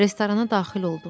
Restorana daxil olduq.